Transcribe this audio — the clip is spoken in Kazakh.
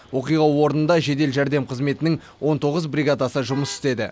оқиға орнында жедел жәрдем қызметінің он тоғыз бридагасы жұмыс істеді